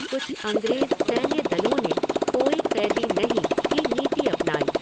कुछ अंग्रेज़ सैन्य दलों ने कोई क़ैदी नहीं की नीति अपनाई।